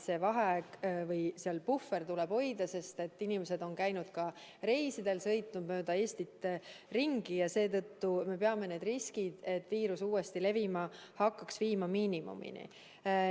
See puhver tuleb hoida, sest inimesed on käinud ka reisidel, sõitnud mööda Eestit ringi ja seetõttu me peame riski, et viirus uuesti levima hakkab, viima miinimumini.